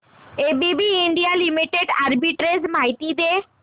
ABB India limited arbitrage माहिती दे